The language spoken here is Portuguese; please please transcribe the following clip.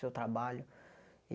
Seu trabalho.